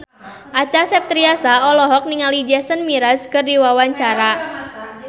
Acha Septriasa olohok ningali Jason Mraz keur diwawancara